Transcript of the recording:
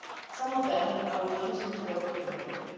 Some of them are refusing to work for the military.